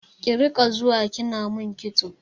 Ki riƙa zuwa kina min kitso!